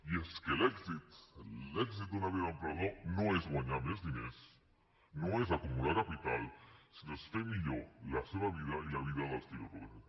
i és que l’èxit l’èxit d’una vida d’emprenedor no és guanyar més diners no és acumular capital sinó que és fer millor la seva vida i la vida dels qui el rodegen